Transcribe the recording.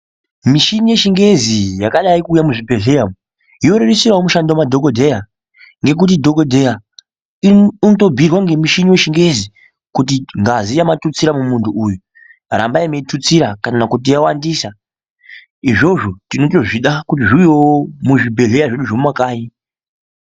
Michini yechingezi yakadai kuuya muzvibhedhlera umu, yorerusirawo mushando madhokodheya ngekuti dhokodheya unotobhuirwa ngemuchini wechingezi kuti ngazi yamatutsira mumunthu uyu rambai meitutsira kana kuti yawandisa, izvozvo tinotozvida kuti zviuyewo muzvi bhedhleya zvedu zvemumakanyi.